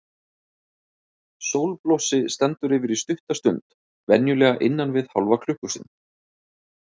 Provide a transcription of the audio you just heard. Sólblossi stendur yfir í stutta stund, venjulega innan við hálfa klukkustund.